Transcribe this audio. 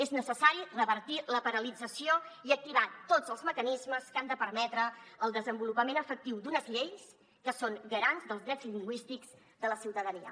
és necessari revertir la paralització i activar tots els mecanismes que han de permetre el desenvolupament efectiu d’unes lleis que són garants dels drets lingüístics de la ciutadania